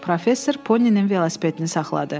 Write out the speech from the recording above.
Professor Poninin velosipedini saxladı.